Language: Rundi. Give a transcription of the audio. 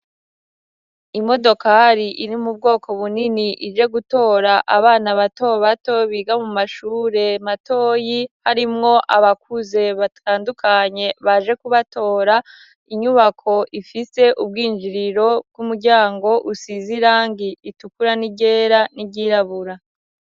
Imodokari iri mu bwoko bunini ije gutora abana bato bato biga mu mashure matoyi harimwo abakuze batandukanye baje kubatora, inyubako ifise ubwinjiriro bw'umuryango usiz' irangi ritukura n'iryera n'iryirabura